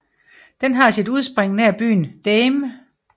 Den har sit udspring nær byen Dahme